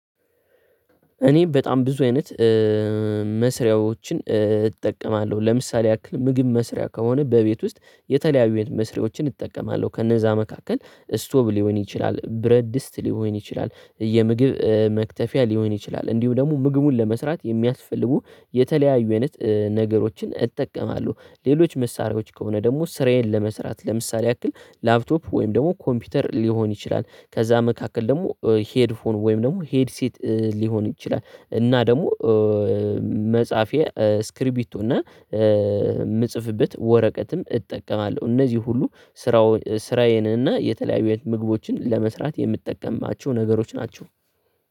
እኔ በጣም ብዙ አይነት መስሪያዎችን እጠቀማለሁ ለምሳሌ ያክል ምግብ መስሪያ ከሆነ በቤት ውስጥ የተለያዩ የምግብ መስሪያዎችን እጠቀማለሁ ከነዛ መካከል ስቶብ ሊሆን ይችላል ብረት ድስት ሊሆን ይችላል የምግብ መክተፊያ ሊሆን ይችላል እንዲሁም ደግሞ ምግቡን ለመስራት የሚያስፈልጉ የተለያዩ አይነት ነገሮችን እጠቀማለሁ። ሌሎች መሳሪያዎች ከሆነ ደግሞ ስራዬን ለመስራት ለምሳሌ ያክል ላፕቶፕ ወይም ደግሞ ኮምፒውተር ሊሆን ይችላል። ከዛ መካከል ደግሞ ሄድፎን ወይም ደግሞ ሄድሴት ሊሆን ይችላል። እና ደግሞ መጽሐፊያ እስክሪቢቶ እና የምጽፍበት ወረቀትም እጠቀማለሁ። እነዚህ ሁሉ ስራውን ስራዬንና የተለያዩ ምግቦችን ለመስራት የምጠቀማቸው ነገሮች ናቸው።